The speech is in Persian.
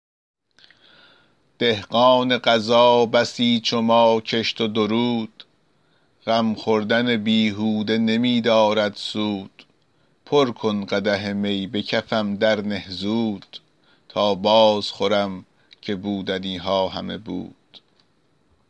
دهقان قضا بسی چو ما کشت و درود غم خوردن بیهوده نمی دارد سود پر کن قدح می به کفم درنه زود تا باز خورم که بودنی ها همه بود